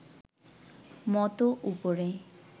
মতো উপরে